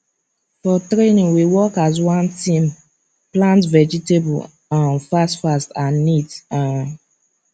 for training we work as one team plant vegetable um fastfast and neat um